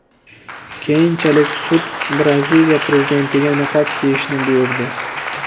Keyinchalik sud Braziliya prezidentiga niqob kiyishni buyurdi.